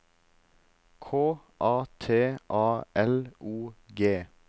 K A T A L O G